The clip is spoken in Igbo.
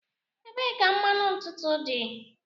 Ebee ka mmanụ ntutu dị?